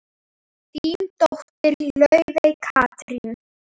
Þín dóttir, Laufey Katrín.